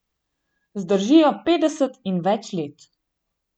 Zdržijo petdeset in več let.